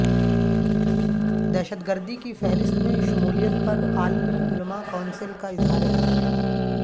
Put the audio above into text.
دہشت گردی کی فہرست میں شمولیت پر عالمی علما کونسل کا اظہار حیرت